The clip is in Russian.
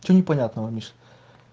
что непонятного миша